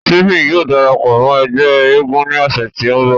Stephen yóò darapọ mọ ẹgbẹ èègún ni ọsẹ ti nbọ.